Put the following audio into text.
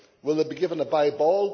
Will they be given a bye ball?